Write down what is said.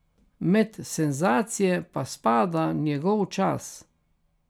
Med senzacije pa spada njegov čas.